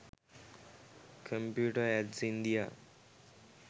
computer ads india